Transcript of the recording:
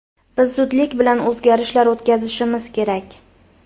Biz zudlik bilan o‘zgarishlar o‘tkazishimiz kerak.